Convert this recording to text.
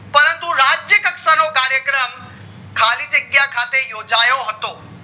પરંતુ રહ્ત્રીય કક્ષા નો કાર્યક્રમ ખાલી જગ્યાએ યોજાયો હતો